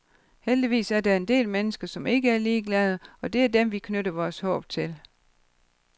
Heldigvis er der en del mennesker, som ikke er ligeglade, og det er dem, vi knytter vores håb til.